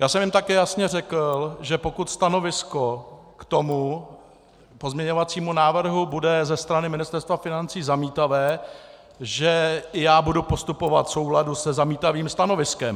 Já jsem jim také jasně řekl, že pokud stanovisko k tomu pozměňovacímu návrhu bude ze strany Ministerstva financí zamítavé, že já budu postupovat v souladu se zamítavým stanoviskem.